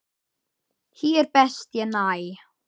Hér best ég næ.